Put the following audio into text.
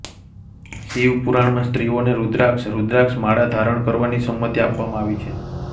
શિવપુરાણમાં સ્ત્રીઓને રુદ્રાક્ષ રુદ્રાક્ષમાળા ધારણ કરવાની સંમતિ આપવામાં આવી છે